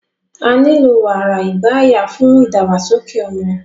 Á nilo wara igbaya fun idagbasoke ọmọ